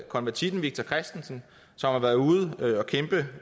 konvertitten victor kristensen som har været ude